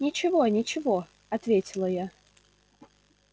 ничего ничего ответила я